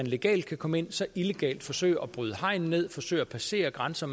legalt kan komme ind så illegalt forsøge at bryde hegn ned forsøge at passere grænser